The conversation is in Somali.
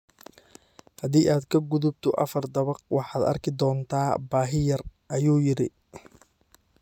Haddii aad ka gudubto afar dabaq, waxaad arki doontaa baahi yar, ayuu yidhi.